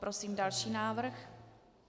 Prosím další návrh.